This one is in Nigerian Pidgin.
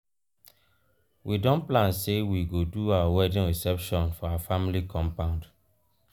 we don plan sey we go do our wedding reception for our family compound.